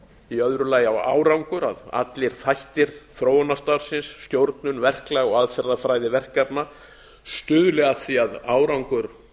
í öðru lagi á árangur að allir þættir þróunarstarfsins stjórnun verklag og aðferðafræði verkefna stuðli að því að árangur